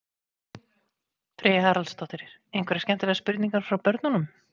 Freyja Haraldsdóttir: Einhverjar skemmtilegar spurningar frá börnum?